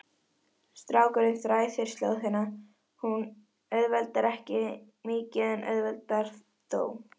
Strákurinn þræðir slóðina, hún auðveldar ekki mikið en auðveldar þó.